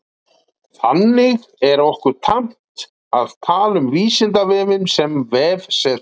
Þannig er okkur tamt að tala um Vísindavefinn sem vefsetur.